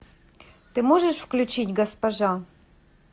ты можешь включить госпожа